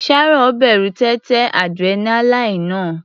Sharon bẹ̀rù téńté adrenaline náà.